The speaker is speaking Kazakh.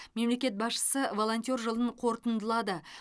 мемлекет басшысы волонтер жылын қорытындылады